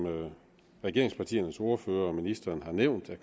regeringspartiernes ordførere og ministeren har nævnt